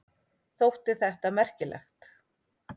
Þótti þetta merkilegt.